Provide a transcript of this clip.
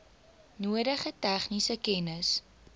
nodige tegniese kennis